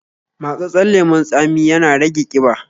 Matsatssen lemon tsami ya na rage ƙiba